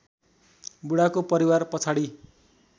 बुढाको परिवार पछाडि